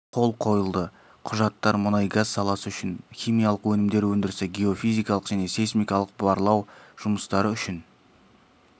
қол қойылды құжаттар мұнайгаз саласы үшін химиялық өнімдер өндірісі геофизикалық және сейсмикалық барлау жұмыстары үшін